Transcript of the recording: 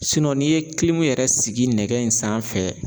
n'i ye yɛrɛ sigi nɛgɛ in sanfɛ